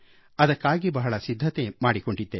ಅದಕ್ಕಾಗಿ ಬಹಳ ಸಿದ್ಧತೆ ಮಾಡಿಕೊಂಡಿದ್ದೆ